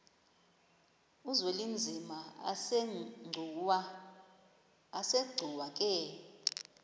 uzwelinzima asegcuwa ke